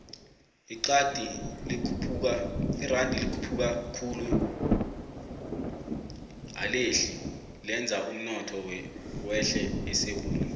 ixadi likhuphuka khulu alehli lenza umnotho wehle esewula